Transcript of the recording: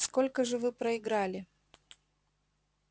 сколько же вы проиграли